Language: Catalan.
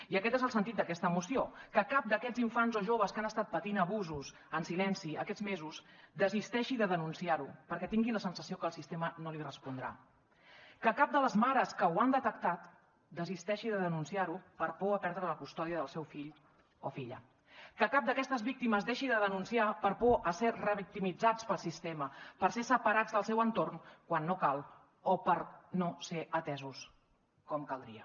i aquest és el sentit d’aquesta moció que cap d’aquests infants o joves que han estat patint abusos en silenci aquests mesos desisteixi de denunciarho perquè tingui la sensació que el sistema no li respondrà que cap de les mares que ho han detectat desisteixi de denunciarho per por a perdre la custòdia del seu fill o filla que cap d’aquestes víctimes deixi de denunciar per por a ser revictimitzats pel sistema per ser separats del seu entorn quan no cal o per no ser atesos com caldria